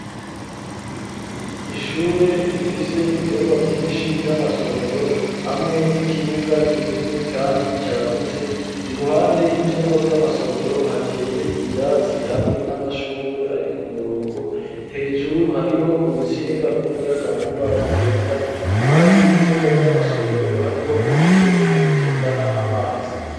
Ishure rifise ivyumba vyinshi vy'amasomero hamwe n'ikibuga kinini kandi cagutse iruhande y'ivyumba vy'amasomero hateye ivyatsi hamwe n'amashurwe ari k'umurongo hejuru hariho urutsinga rw'umuyagankuba rugenda impande y'ivyumba vy'amasomero hariho umufurege utembana amazi.